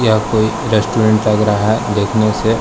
यह कोई रेस्टोरेंट लग रहा है देखने से।